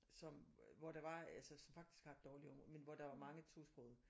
Som hvor der var altså som faktisk har et dårligt område men hvor der var mange tosprogede